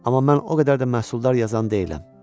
Amma mən o qədər də məhsuldar yazan deyiləm.